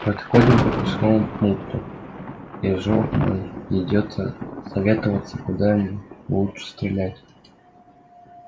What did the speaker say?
подходим к пропускному пункту и жлоб мой идёт советоваться куда ему лучше стрелять